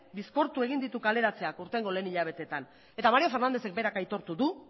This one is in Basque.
bizkortu egin ditu kaleratzeak aurtengo lehenengo hilabeteetan eta mario fernándezek berak aitortu du